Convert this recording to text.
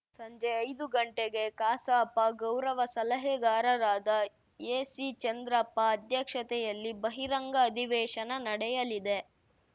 ಸಂಜೆ ಐದು ಗಂಟೆಗೆ ಕಸಾಪ ಗೌರವ ಸಲಹೆಗಾರರಾದ ಎಸಿ ಚಂದ್ರಪ್ಪ ಅಧ್ಯಕ್ಷತೆಯಲ್ಲಿ ಬಹಿರಂಗ ಅಧಿವೇಶನ ನಡೆಯಲಿದೆ